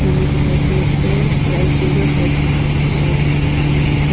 Manu dekhai de ase aro ek jun tu face lukai deshe dekha nai.